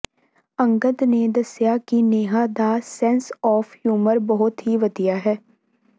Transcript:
ਅੰਗਦ ਨੇ ਦੱਸਿਆ ਕਿ ਨੇਹਾ ਦਾ ਸੈਂਸ ਆਫ ਹਿਊਮਰ ਬਹੁਤ ਹੀ ਵਧੀਆ ਹੈ